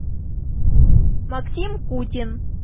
максим кутин